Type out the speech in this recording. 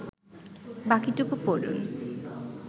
বাকিটুকু পড়ুন